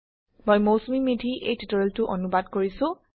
মই মৌচুমী মেধি এই টিউটোৰিয়েলটো অনুবাদ কৰিছো